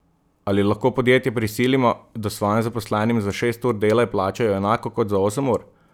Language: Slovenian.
Ali lahko podjetja prisilimo, da svojim zaposlenim za šest ur dela plačajo enako kot za osem ur?